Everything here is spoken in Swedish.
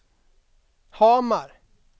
Hamar